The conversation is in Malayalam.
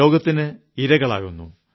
രോഗത്തിന് ഇരകളാകുന്നു